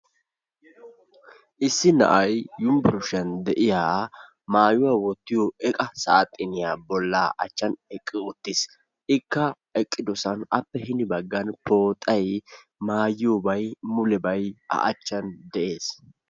issi na'ay yunbburushiyan de'iyaa maayuwaa wottiyo eqa saaxiniyaa bollaa achchan eqqi uttis. ikka eqqidosan appe hini baggan pooxay maayiyoobay mulebay a achchan de'ees.